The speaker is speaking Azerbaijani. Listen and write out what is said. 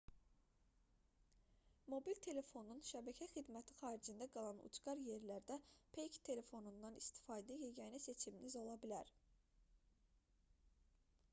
mobil telefonun şəbəkə xidməti xaricində qalan ucqar yerlərdə peyk telefonundan istifadə yeganə seçiminiz ola bilər